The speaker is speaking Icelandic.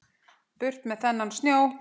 Burt með þennan snjó.